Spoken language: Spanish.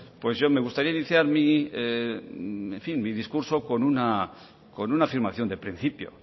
pues yo me gustaría iniciar mi discurso con una con una afirmación de principio